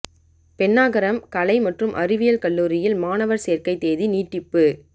பென்னாகரம் கலை மற்றும் அறிவியல் கல்லூரியில்மாணவா் சோ்க்கை தேதி நீட்டிப்பு